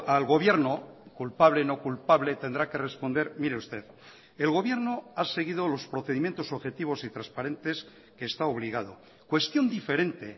al gobierno culpable no culpable tendrá que responder mire usted el gobierno ha seguido los procedimientos objetivos y transparentes que está obligado cuestión diferente